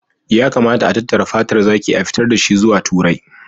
Ya kamata a tattara fatar zaki, a fitar da shi zuwa Turai